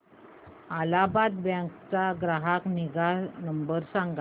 Allahabad bank चा ग्राहक निगा नंबर सांगा